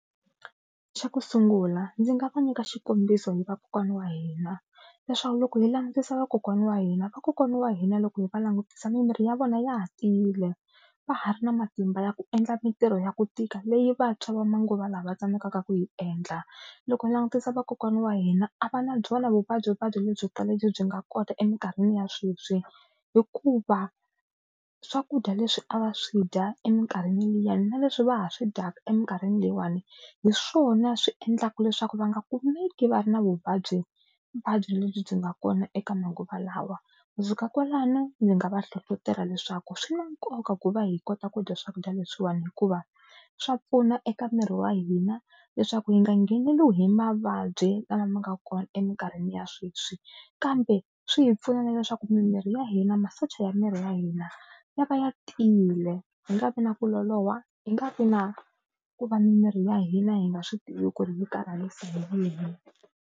Xa ku sungula ndzi nga va nyika xikombiso hi vakokwana wa hina, leswaku loko hi langutisa vakokwana wa hina vakokwana wa hina loko hi va langutisa mimiri ya vona ya ha tiyile va ha ri na matimba ya ku endla mintirho ya ku tika leyi vantshwa va manguva lawa va tsandzekaka ku yi endla. Loko hi langutisa vakokwana wa hina a va na byona vuvabyivuvabyi lebyikulu lebyi byi nga kota eminkarhini ya sweswi hikuva swakudya leswi a va swi dya eminkarhini liyani na leswi va ha swi dyaka eminkarhini leyiwani hi swona swi endlaka leswaku va nga kumeki va ri na vuvabyi vuvabyi lebyi byi nga kona eka manguva lawa. Ku fika kwalano ndzi nga va hlohlotela leswaku swi na nkoka ku va hi kota ku dya swakudya leswiwani hikuva swa pfuna eka miri wa hina leswaku hi nga ngheneriwi hi mavabyi lama ma nga kona eminkarhini ya sweswi kambe swi hi pfuna na leswaku mimiri ya hina masocha ya miri ya hina ya va ya tiyile hi nga vi na ku loloha hi nga vi na ku va mimiri ya hina hi nga swi tivi ku ri hi karhalisa.